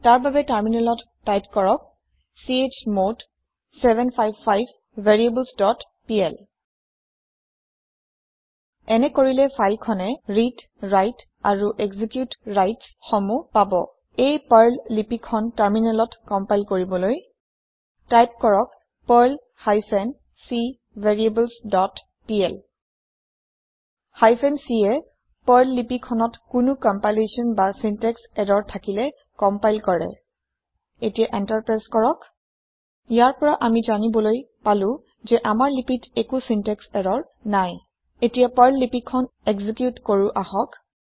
তাৰ বাবে টাৰমিনেলত টাইপ কৰক চমদ 755 ভেৰিয়েবলছ ডট পিএল এনে কৰিলে ফাইল খনে read write amp execute rights সমূহ পাব এই পাৰ্ল লিপি খন টাৰমিনেলত কম্পাইল কৰিবলৈ টাইপ কৰক Perl hyphen c variables dot pl hyphen c য়ে পাৰ্ল লিপি খনত কোনো কম্পাইলেচনচিন্টেক্স ইৰৰ থাকিলে কম্পাইল কৰে এতিয়া এন্টাৰ প্ৰেছ কৰক ইয়াৰ পৰা আমি জানিবলৈ পালো যে আমাৰ লিপিত একো চিন্টেক্স ইৰৰ নাই এতিয়া পাৰ্ল লিপি খন একজিকিউট কৰো আহক